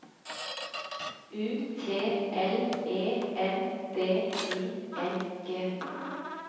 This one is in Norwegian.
U T L E N D I N G